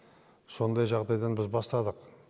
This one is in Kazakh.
сондай жағдайдан біз бастадық